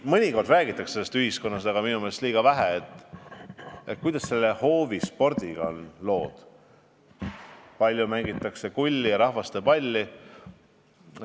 Mõnikord räägitakse ühiskonnas – aga minu meelest liiga vähe – sellest, kuidas on lood hoovispordiga, kui palju mängitakse kulli ja rahvastepalli.